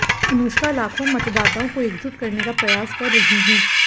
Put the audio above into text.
अनुष्का लाखों मतदाताओं को एकजुट करने का प्रयास कर रही हैं